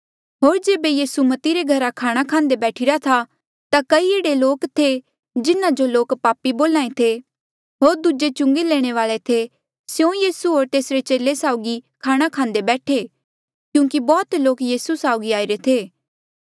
होर जेबे यीसू मती रे घरा खाणा खांदे बैठीरा था ता कई एह्ड़े लोक थे जिन्हा जो लोक पापी बोल्हा ऐें थे होर दूजे चुंगी लैणे वाल्ऐ थे स्यों यीसू होर तेसरे चेले साउगी खाणा खांदे बैठे क्यूंकि बौह्त लोक यीसू साउगी आईरे थे